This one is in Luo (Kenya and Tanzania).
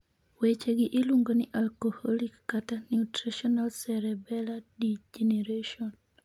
Weche gi iluong'o ni alcoholic/nutritional cerebellar degeneration.